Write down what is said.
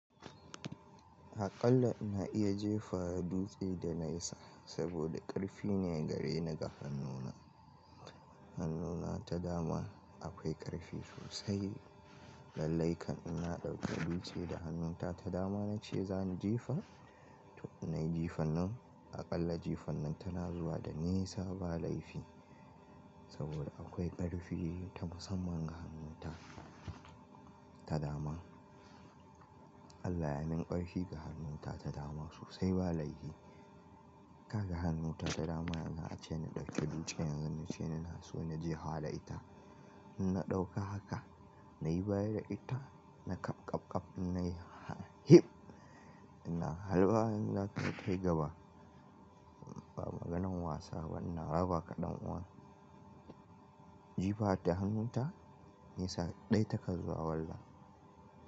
Aƙalla ina iya jefa dutse da nesa saboda ƙarfi ne gare ni ga hannuna. Hannuna ta dama akwai ƙarfi sosai. Lallai kan in na ɗauki dutse da hannunta ta dama nace zani jefa to in nayi jefan nan. Aƙalla jifan nan tana zuwa da nisa ba laifi saboda akwai ƙarfi ta musamman ga hannunta ta dama. Allah ya min ƙarfi ga hannunta ta dama sosai ba laifi. Kaga hannunta ta dama yanzu ace na ɗauki dutse yanzu nace ina so na je ha da ita. In na ɗauka haka nayi baya da ita na ƙab ƙab ƙab in nayi hip ina halba yanzu zaka tayi gaba. Ba maganan wasa ba ina rabaka ɗan kuwa. Jifa ta hannunta nisa ɗaya take zuwa wallah.